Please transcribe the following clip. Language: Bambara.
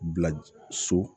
Bila so